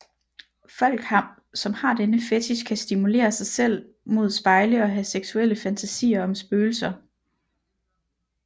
Folk som har denne fetich kan stimulere sig selv mod spejle og have seksuelle fantasier om spøgelser